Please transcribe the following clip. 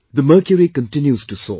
The mercury continues to soar